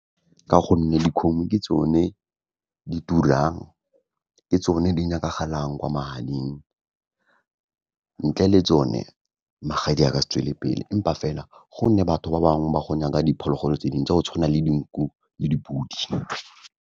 Ka gonne dikgomo ke tsone di turang ke tsone di nyakagalang kwa magading, ntle le tsone magadi a ka se tswelelepele empa fela gonne batho ba bangwe ba go ngaka diphologolo tse dingwe tsa go tshwana le dinku le dipodi.